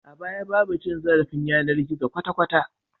A baya babu cin zarafin yanar gizo kwata kwata